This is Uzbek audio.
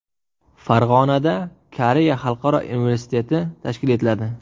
Farg‘onada Koreya xalqaro universiteti tashkil etiladi.